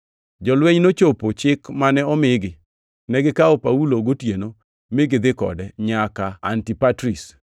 Jolweny nochopo chik mane omigi. Negikawo Paulo gotieno, mi gidhi kode nyaka Antipatris.